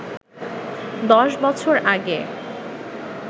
১০ বছর আগে